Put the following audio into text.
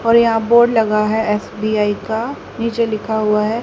और यहां बोर्ड लगा है एस_बी_आई का नीचे लिखा हुआ है।